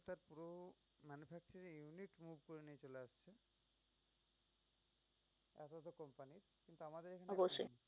অবশ্যই।